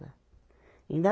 Ainda